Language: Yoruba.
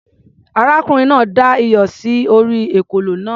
Arákùnrin náà da iyọ̀ sí orí ekòló náà.